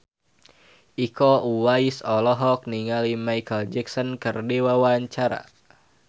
Iko Uwais olohok ningali Micheal Jackson keur diwawancara